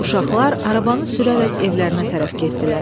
Uşaqlar arabanı sürərək evlərinə tərəf getdilər.